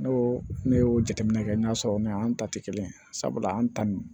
N'o ne y'o jateminɛ kɛ n'a sɔrɔ n'an ta tɛ kelen sabula an ta nin